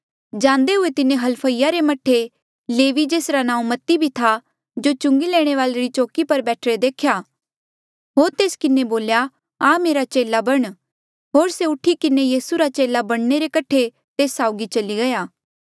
जांदे हुए तिन्हें हलफईस रे मह्ठे लेवी जेसरा नांऊँ मती भी था जो चुंगी लैणे री चौकी पर बैठीरे देख्या होर तेस किन्हें बोल्या आ मेरा चेला बण होर से उठी किन्हें यीसू रा चेला बणने रे कठे तेस साउगी चली गया